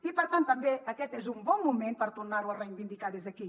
i per tant també aquest és un bon moment per tornar ho a reivindicar des d’aquí